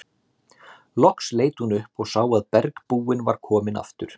Loks leit hún upp og sá að bergbúinn var kominn aftur.